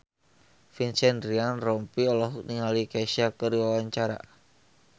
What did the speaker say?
Vincent Ryan Rompies olohok ningali Kesha keur diwawancara